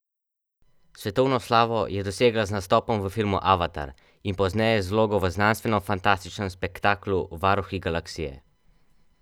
Svetovno slavo je dosegla z nastopom v filmu Avatar in pozneje z vlogo v znanstvenofantastičnem spektaklu Varuhi galaksije.